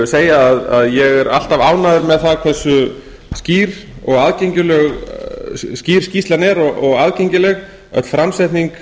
segja að ég er alltaf ánægður með það hversu skýr skýrslan er og aðgengileg öll framsetning